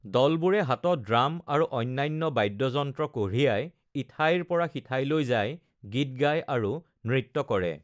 দলবোৰে হাতত ড্ৰাম আৰু অন্যান্য বাদ্যযন্ত্ৰ কঢ়িয়ায়, ইঠাইৰ পৰা সিঠাইলৈ যায়, গীত গায় আৰু নৃত্য কৰে।